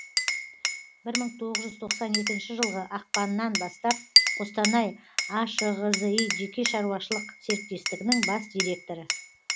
бір мың тоғыз жүз тоқсан екінші жылғы ақпаннан бастап қостанай ашғзи жеке шаруашылық серіктестігінің бас директоры